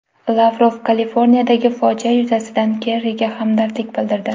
Lavrov Kaliforniyadagi fojia yuzasidan Kerriga hamdardlik bildirdi.